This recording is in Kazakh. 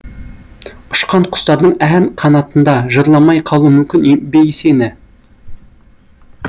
ұшқан құстардың ән қанатында жырламай қалу мүмкін бе сені